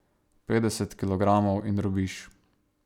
Petdeset kilogramov in drobiž.